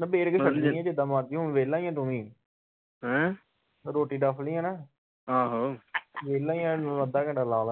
ਨਿਬੇੜ ਕੇ ਛੱਡਣੀ ਜਿਦਾ ਮਰਜੀ ਹੁਣ ਵੇਹਲਾ ਈਆ ਤੂੰ ਵੀ ਰੋਟੀ ਡਫ ਲਈ ਆ ਨਾ ਵੇਹਲਾ ਈਆ ਹੁਣ ਤੂੰ ਅੱਧਾ ਘੰਟਾ ਲਾ